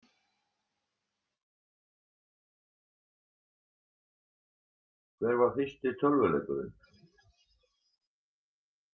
Hver var fyrsti tölvuleikurinn?